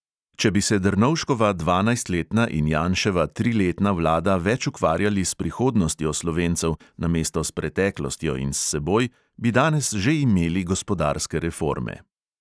Če bi se drnovškova dvanajstletna in janševa triletna vlada več ukvarjali s prihodnostjo slovencev namesto s preteklostjo in s seboj, bi danes že imeli gospodarske reforme.